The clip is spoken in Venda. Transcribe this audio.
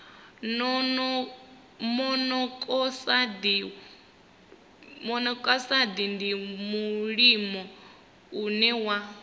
monokosaidi ndi mulimo une wa